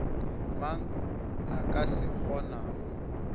mang a ka se kgonago